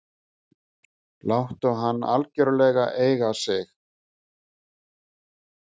Láttu hann algjörlega eiga sig.